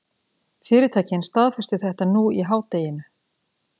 Fyrirtækin staðfestu þetta nú í hádeginu